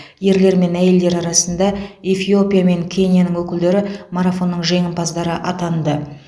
ерлер мен әйелдер арасында эфиопия мен кенияның өкілдері марафонның жеңімпаздары атанды